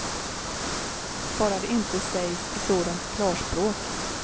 Bara det inte sägs i sådant klarspråk.